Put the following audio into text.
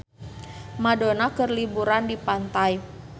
Madonna keur liburan di pantai